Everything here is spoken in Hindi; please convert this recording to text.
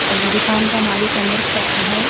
दुकान का मालिक अंदर खड़ा है।